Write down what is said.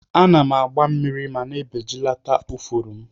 Ana agba mmiri ma na ebejilat ifuru mu.